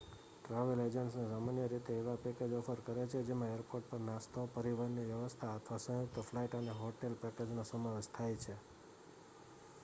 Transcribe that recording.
travel agents સામાન્ય રીતે એવા પેકેજ ઑફર કરે છે જેમાં એરપોર્ટ પર નાસ્તો પરિવહનની વ્યવસ્થા અથવા સંયુક્ત ફ્લાઇટ અને હોટેલ પેકેજનો સમાવેશ થાય છે